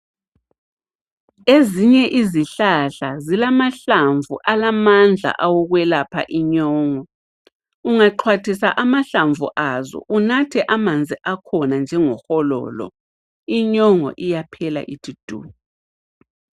Ezinye izihlahla zila mahlamvu alamandla awokwelapha inyongo ungaxhwathisa amahlamvu azo unathe amanzi akhona njengo hololo inyongo iyaphela ithi du.